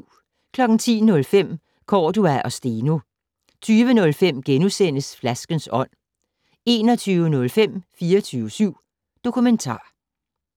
10:05: Cordua og Steno 20:05: Flaskens ånd * 21:05: 24syv Dokumentar